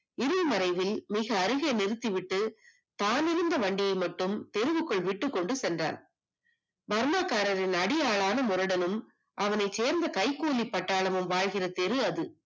இலை மறைவில் மிக அருகே நிறுத்திவிட்டு தான் வைத்திருந்த வண்டியை மட்டும் தெருவில் விட்டு விட்டு சென்றான் பர்மா காரர்களான அடியாளான முரடனும் அவனைச் சேர்ந்த கைகூலிப்பட்டாலமும் வாழ்கின்ற திரு அது